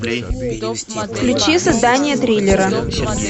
включи создание триллера